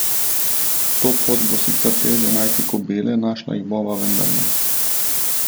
To pot bo sicer teže najti kobile, našla jih bova vendarle!